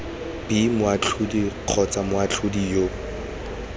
b moatlhodi kgotsa moatlhodi yo